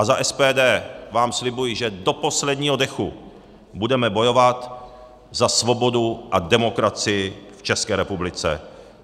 A za SPD vám slibuji, že do posledního dechu budeme bojovat za svobodu a demokracii v České republice.